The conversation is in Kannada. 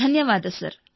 ಧನ್ಯವಾದ ಸರ್